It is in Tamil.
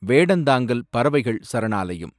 வேடந்தாங்கல் பறவைகள் சரணாலயம்